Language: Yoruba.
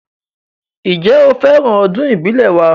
Ǹjẹ́, ó fẹ́ràn ọdún ìbílẹ̀ wa